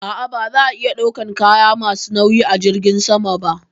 A'a, ba za a iya ɗaukan kaya ma su nauyi a jirgin sama ba